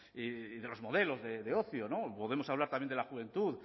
y de los modelos de ocio podemos hablar también de la juventud